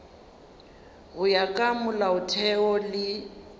go ya ka molaotheo le